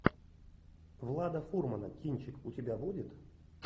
влада фурмана кинчик у тебя будет